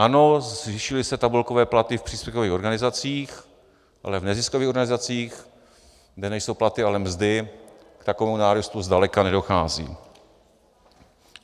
Ano, zvýšily se tabulkové platy v příspěvkových organizacích, ale v neziskových organizacích, kde nejsou platy, ale mzdy, k takovému nárůstu zdaleka nedochází.